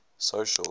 social